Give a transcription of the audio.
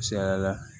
Misaliya la